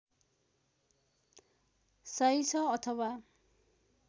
सही छ अथवा